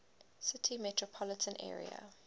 city metropolitan area